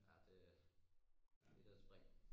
Ja det er øh det da et spring